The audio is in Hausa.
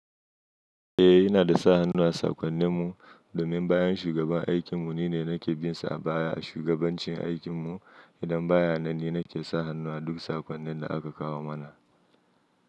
Eh, ina da sa hannu a sakonnin mu domin bayan shugaban aikin mu nine nake binsa baya a shugabancin aikin mu. Idan ba ya nan ni na ke sa hannuwa duk sakonnin da aka kawo mana.